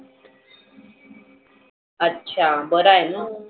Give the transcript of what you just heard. अच्छा बर आहेना?